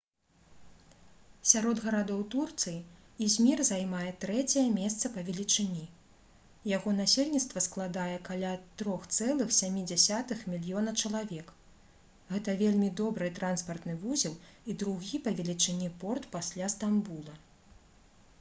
сярод гарадоў турцыі ізмір займае трэцяе месца па велічыні яго насельніцтва складае каля 3,7 мільёна чалавек гэта вельмі добры транспартны вузел і другі па велічыні порт пасля стамбула